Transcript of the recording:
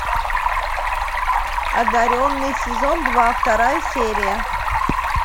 одаренный сезон два вторая серия